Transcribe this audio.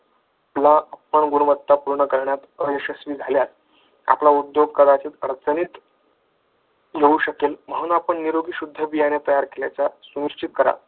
गुणवत्ता पूर्ण करण्यात यशस्वी झाल्यास आपला उद्योग कदाचित अडचणीत येऊ शकेल म्हणून आपण निरोगी शुद्ध बियाणे तयार केल्याचा सुनिश्चित करा किंवा